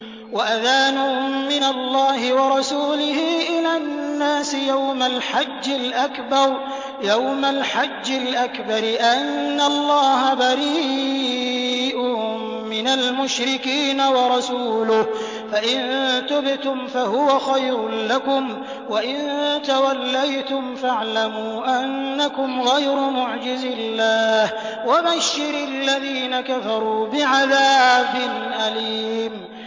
وَأَذَانٌ مِّنَ اللَّهِ وَرَسُولِهِ إِلَى النَّاسِ يَوْمَ الْحَجِّ الْأَكْبَرِ أَنَّ اللَّهَ بَرِيءٌ مِّنَ الْمُشْرِكِينَ ۙ وَرَسُولُهُ ۚ فَإِن تُبْتُمْ فَهُوَ خَيْرٌ لَّكُمْ ۖ وَإِن تَوَلَّيْتُمْ فَاعْلَمُوا أَنَّكُمْ غَيْرُ مُعْجِزِي اللَّهِ ۗ وَبَشِّرِ الَّذِينَ كَفَرُوا بِعَذَابٍ أَلِيمٍ